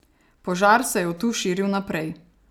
Požar se je od tu širil naprej.